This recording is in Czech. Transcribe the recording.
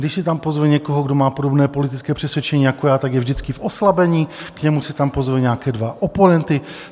Když si tam pozve někoho, kdo má podobné politické přesvědčení jako já, tak je vždycky v oslabení, k němu si tam pozve nějaké dva oponenty.